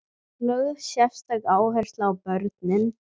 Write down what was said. Lögð sérstök áhersla á börnin.